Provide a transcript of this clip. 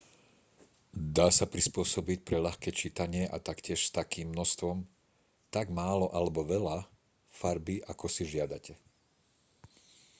dá sa prispôsobiť pre ľahké čítanie a taktiež s takým množstvom tak málo alebo veľa farby ako si žiadate